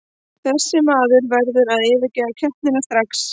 Þessi maður verður að yfirgefa keppnina strax.